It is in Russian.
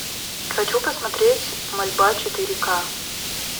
хочу посмотреть мольба четыре ка